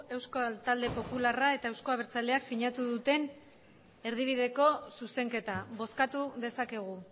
euskal talde popularrak eta euzko abertzaleak sinatu duten erdibideko zuzenketa bozkatu dezakegu